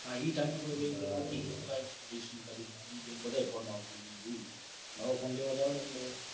એ time નવો phone લેવા જાહુ ને એટલે.